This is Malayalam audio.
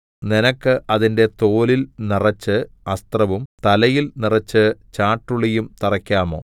നിനക്ക് അതിന്റെ തോലിൽ നിറച്ച് അസ്ത്രവും തലയിൽ നിറച്ച് ചാട്ടുളിയും തറയ്ക്കാമോ